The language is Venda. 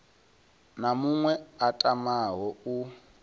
na muṅwe a tamaho u